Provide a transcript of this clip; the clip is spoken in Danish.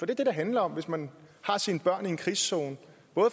det det handler om hvis man har sine børn i en krigszone